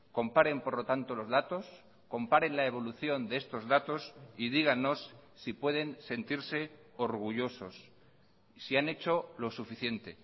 comparen por lo tanto los datos comparen la evolución de estos datos y dígannos si pueden sentirse orgullosos si han hecho lo suficiente